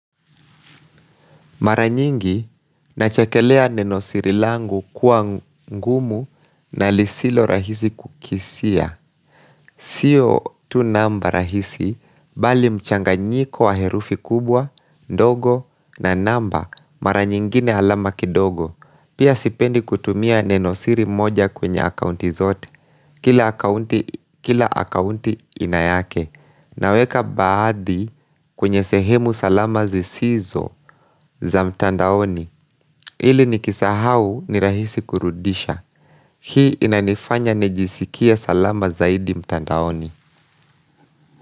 Mara nyingi, nachekelea nenosiri langu kuwa ngumu na lisilo rahisi kukisia. Sio tu namba rahisi, bali mchanganyiko wa herufi kubwa, ndogo na namba, mara nyingine alama kidogo. Pia sipendi kutumia nenosiri moja kwenye akaunti zote, kila akaunti, kila akaunti ina yake. Naweka baadhi, kwenye sehemu salama zisizo za mtandaoni ili nikisahau ni rahisi kurudisha. Hii inanifanya nijisikie salama zaidi mtandaoni.